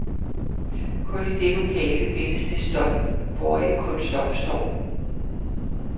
Kun i det lokale findes det stof, hvoraf kunst opstår.